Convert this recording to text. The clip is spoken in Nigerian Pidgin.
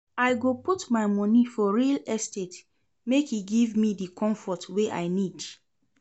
I go put my moni for real estate make e give me di comfort wey I need